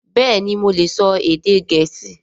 Bẹ́ẹ̀ni mo lè sọ èdè Gẹ̀ẹ́sì